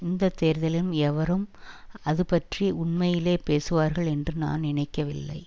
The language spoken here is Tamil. இந்த தேர்தலிலும் எவரும் அதுபற்றி உண்மையிலேயே பேசுவார்கள் என்று நான் நினைக்கவில்லை